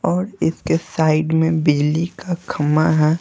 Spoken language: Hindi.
और इसके साइड में बिजली का खम्मा ह ।